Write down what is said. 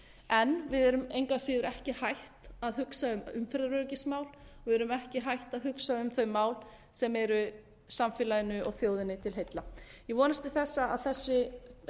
en við erum engu að síður ekki hætt að hugsa um umferðaröryggismál við erum ekki hætt að hugsa um þau mál sem eru samfélaginu og þjóðinni til heilla ég vonast til þess að þessi